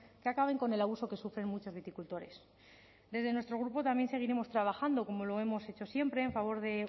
que acaben con el abuso que sufren muchos viticultores desde nuestro grupo también seguiremos trabajando como lo hemos hecho siempre en favor de